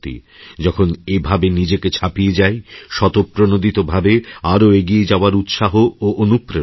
যখন এভাবেনিজেকে ছাপিয়ে যাই স্বতঃপ্রণোদিতভাবে আরও এগিয়ে যাওয়ার উৎসাহ ও অনুপ্রেরণা পাই